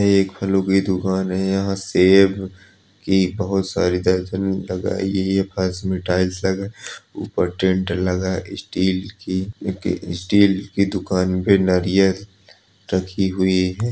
यह एक फलो की दुकान है यहाँ पर सेब की बहोत सारी दर्जने लगाई गई है पास में टाइल्स लगा है ऊपर टेंट लगा है स्टील की स्टील की दुकान में नरियल रखी हुई है।